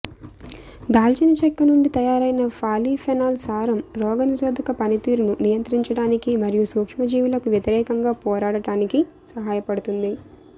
దాల్చినచెక్క నుండి తయారైన పాలీఫెనాల్ సారం రోగనిరోధక పనితీరును నియంత్రించడానికి మరియు సూక్ష్మజీవులకు వ్యతిరేకంగా పోరాడటానికి సహాయపడుతుంది